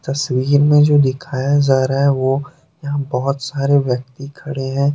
तस्वीर में जो दिखाया जा रहा है वो यहाँ बहुत सारे व्यक्ति खड़े हैं।